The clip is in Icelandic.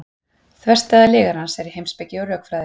þverstæða lygarans er í heimspeki og rökfræði